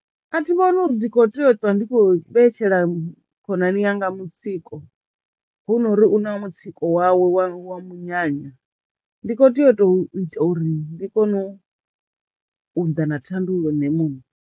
A thi vhoni uri ndi khou tea u ṱwa ndi khou vhetshela khonani yanga mutsiko hu nori una mutsiko wawe wa wa munyanya ndi kho tea u to ita uri ndi kono u ḓa na thandululo nṋe muṋe.